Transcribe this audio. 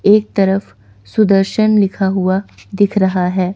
एक तरफ सुदर्शन लिखा हुआ दिख रहा है।